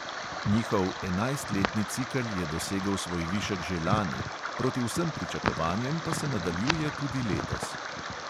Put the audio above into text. Njihov enajstletni cikel je dosegel svoj višek že lani, proti vsem pričakovanjem pa se nadaljuje tudi letos.